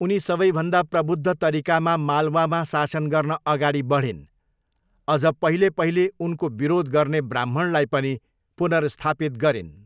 उनी सबैभन्दा प्रबुद्ध तरिकामा मालवामा शासन गर्न अगाडि बढिन्, अझ पहिले पहिले उनको विरोध गर्ने ब्राह्मणलाई पनि पुनर्स्थापित गरिन्।